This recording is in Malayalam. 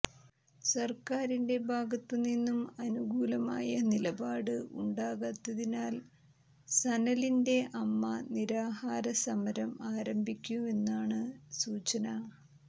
സർക്കാരിന്റെ ഭാഗത്തു നിന്നു അനുകൂലമായ നിലപാട് ഉണ്ടാകാത്തതിനാൽ സനലിന്റെ അമ്മ നിരാഹാര സമരം ആരംഭിക്കുമെന്നാണ് സൂചന